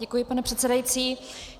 Děkuji, pane předsedající.